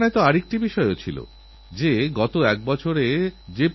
বর্ষার জন্য কিছু সমস্যা তৈরি হলেও বর্ষায়প্রতিটি মানুষের মন পুলকিত হয়ে ওঠে